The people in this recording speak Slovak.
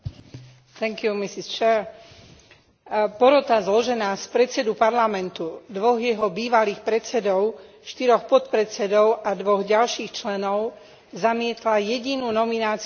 Porota zložená z predsedu Parlamentu, dvoch jeho bývalých predsedov, štyroch podpredsedov a dvoch ďalších členov zamietla jedinú nomináciu Slovenska na Cenu európskeho občana.